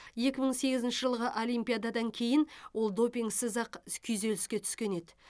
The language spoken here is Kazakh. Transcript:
екі мың сегізінші жылғы олимпиададан кейін ол допингсіз ақ күйзеліске түскен еді